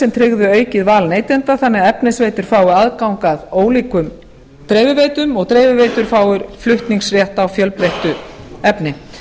sem tryggðu aukið val neytenda þannig að efnisveitur fái aðgang að ólíkum dreifiveitum og dreifiveitur fái flutningsrétt á fjölbreyttu efni